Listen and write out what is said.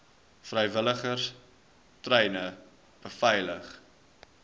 vrywilligers treine beveilig